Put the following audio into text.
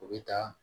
U bɛ taa